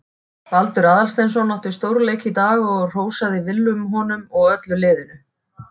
Baldur Aðalsteinsson átti stórleik í dag og hrósaði Willum honum og öllu liðinu.